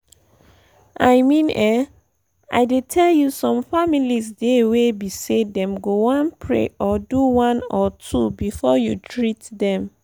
i mean um i dey tell you some families dey wey be say them go one pray or do one or two before you treat them.